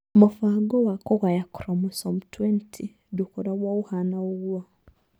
Mũbango wa kũgaya chromosome 20 ndũkoragwo ũhaana ũguo.